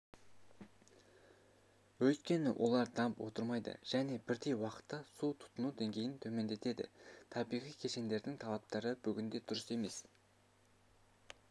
өйткені олар дамып отырмайды және бірдей уақытта су тұтыну деңгейін төмендетеді табиғи кешендердің талаптары бүгінде дұрыс емес